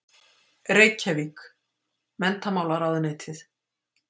Reykjavík: Menntamálaráðuneytið.